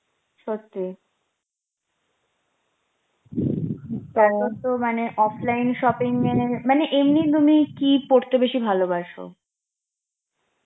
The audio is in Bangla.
সত্যি, এখন তো মানে offline shopping এ মানে এই কি পড়তে বেশি ভালোবাসো